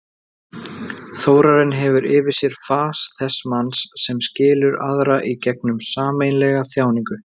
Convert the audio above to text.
Þórarinn hefur yfir sér fas þess manns sem skilur aðra í gegnum sameiginlega þjáningu.